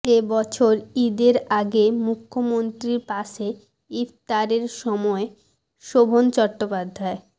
এবছর ঈদের আগে মুখ্যমন্ত্রীর পাশে ইফতারের সময় শোভন চট্টোপাধ্যায়